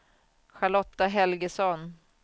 Charlotta Helgesson